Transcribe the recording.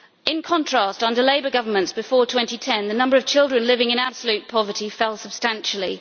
In contrast, under Labour Governments before 2010, the number of children living in absolute poverty fell substantially.